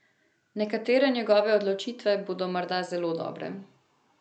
Nekatere njegove odločitve bodo morda zelo dobre.